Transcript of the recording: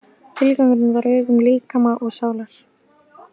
Tilgangurinn var ögun líkama og sálar.